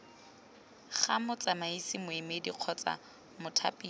ga motsamaisi moemedi kgotsa mothapiwa